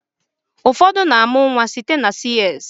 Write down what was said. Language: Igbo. Ụfọdụ ndị mmadụ na-amụ nwa site na CS.